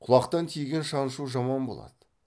құлақтан тиген шаншу жаман болады